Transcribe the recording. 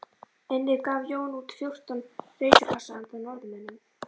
Einnig gaf Jón út fjórtán reisupassa handa Norðmönnum